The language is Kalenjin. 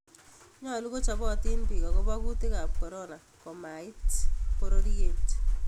Nyolu kochobotin biik akobo kuutikab corona komaiit bororyeet